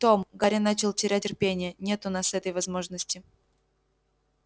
том гарри начал терять терпение нет у нас этой возможности